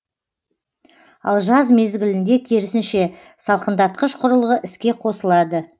ал жаз мезгілінде керісінше салқындатқыш құрылғы іске қосылады